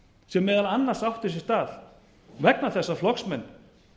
sem meðal annars átti sér stað vegna þess að flokksmenn